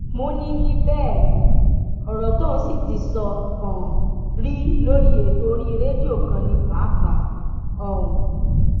múni ní bẹẹ ni ọrọ tóun sì ti sọ um rí lórí ètò orí rédíò kan ní páàpáà um